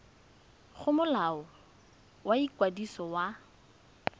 go molao wa ikwadiso wa